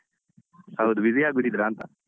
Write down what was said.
ಹೌದು busy ಆಗ್ಬಿಟ್ಟಿದ್ರಾ ಅಂತ.